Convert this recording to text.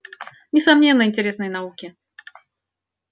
несомненно интересные науки